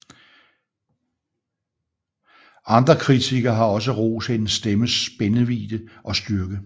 Andre kritikere har også rost hendes stemmes spændvidde og styrke